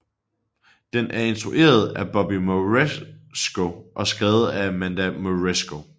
Den er instrueret af Bobby Moresco og skrevet af Amanda Moresco